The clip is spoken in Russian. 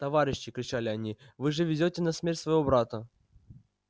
товарищи кричали они вы же везёте на смерть своего брата